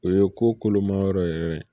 O ye ko kolomayɔrɔ yɛrɛ